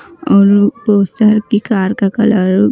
और की कार का कलर ---